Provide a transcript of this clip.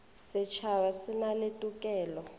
setšhaba e na le tokelo